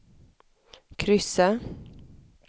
kryssa